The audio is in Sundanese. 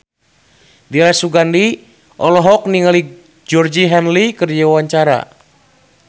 Dira Sugandi olohok ningali Georgie Henley keur diwawancara